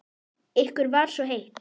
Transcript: Ykkur var svo heitt.